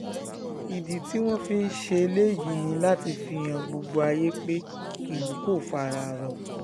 ìdí tí wọ́n ṣe ń ṣèléyìí ni láti fi han gbogbo ayé pé ìlú kò fara rọ